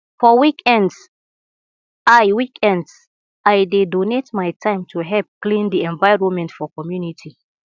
for weekends i weekends i dey donate my time to help clean di environment for community